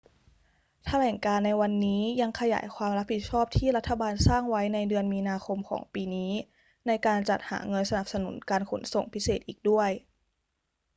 แถลงการณ์ในวันนี้ยังขยายความรับผิดชอบที่รัฐบาลสร้างไว้ในเดือนมีนาคมของปีนี้ในการจัดหาเงินสนับสนุนการขนส่งพิเศษอีกด้วย